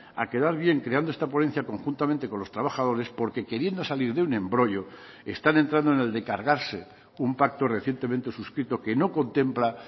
a quedar bien creando esta ponencia conjuntamente con los trabajadores porque queriendo salir de un embrollo están entrando en el de cargarse un pacto recientemente suscrito que no contempla